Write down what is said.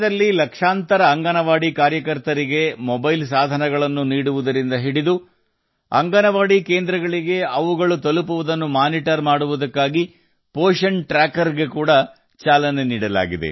ದೇಶದ ಲಕ್ಷಾಂತರ ಅಂಗನವಾಡಿ ಕಾರ್ಯಕರ್ತೆಯರಿಗೆ ಮೊಬೈಲ್ ಸಾಧನಗಳನ್ನು ಒದಗಿಸುವುದರಿಂದ ಅಂಗನವಾಡಿ ಸೇವೆಗಳ ಲಭ್ಯತೆಯನ್ನು ಮೇಲ್ವಿಚಾರಣೆ ಮಾಡಲು ಪೋಶನ್ ಟ್ರ್ಯಾಕರ್ ಅನ್ನು ಸಹ ಪ್ರಾರಂಭಿಸಲಾಗಿದೆ